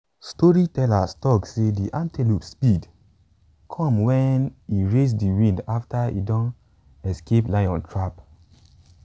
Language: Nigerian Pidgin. storytellers talk say de antelope speed come wen e race de wind after e don escape a lion trap.